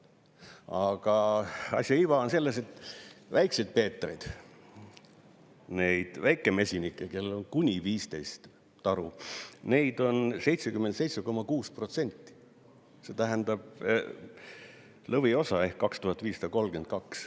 Aga asja iva on selles, et Väikeseid Peetreid, neid väikemesinikke, kellel on kuni 15 taru, neid on 77,6%, see tähendab lõviosa ehk 2532.